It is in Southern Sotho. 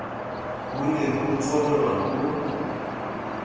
ho ne ho tsongwa ho